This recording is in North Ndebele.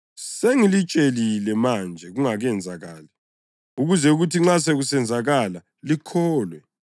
Sengilitshelile manje kungakenzakali ukuze kuthi nxa sekusenzakala likholwe.